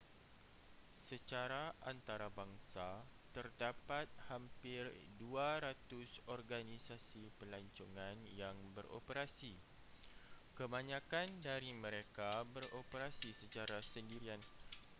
secara antarabangsa terdapat hampir 200 organisasi pelancongan yang beroperasi kebanyakan dari mereka beroperasi secara sendirian